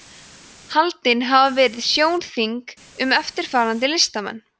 haldin hafa verið sjónþing um eftirfarandi listamenn